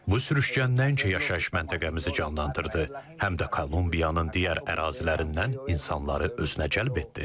Bu sürüşkən tək yaşayış məntəqəmizi canlandırdı, həm də Kolumbiyanın digər ərazilərindən insanları özünə cəlb etdi.